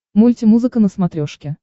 мульти музыка на смотрешке